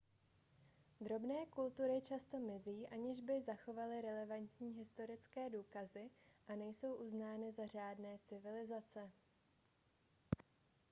drobné kultury často mizí aniž by zanechaly relevantní historické důkazy a nejsou uznány za řádné civilizace